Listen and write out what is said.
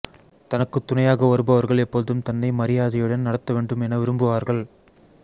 தனக்குத் துணையாக வருபவர்கள் எப்போதும் தன்னை மரியாதையுடன் நடத்தவேண்டும் என விரும்புவார்கள்